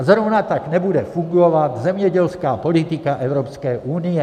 A zrovna tak nebude fungovat zemědělská politika Evropské unie.